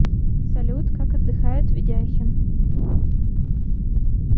салют как отдыхает ведяхин